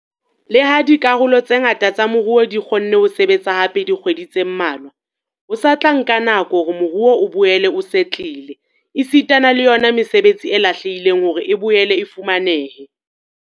Le ha dikarolo tse ngata tsa moruo di kgonne ho sebetsa hape dikgwedi tse mmalwa, ho sa tla nka nako hore moruo o boele o setlele esitana le yona mesebetsi e lahlehileng hore e boele e fumanehe.